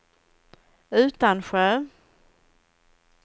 Utansjö